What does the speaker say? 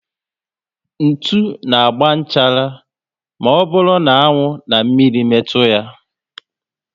Ntụ na agba nchara ma ọ bụrụ na anwụ na mmírí metu ya